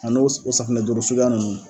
A n'o s o safunɛ duuru suguya nunnu